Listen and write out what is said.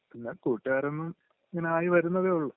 പിന്ന..കൂട്ടുകാരൊന്നും...ഇങ്ങനെ ആയി വരുന്നതേ ഉള്ളൂ..